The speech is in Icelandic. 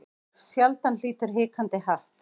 Sjaldan hlýtur hikandi happ.